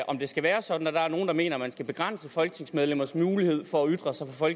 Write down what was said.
om det skal være sådan og der er nogle der mener at man skal begrænse folketingsmedlemmers mulighed for at ytre sig fra